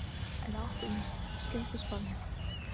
En átt inni skyldusparnað?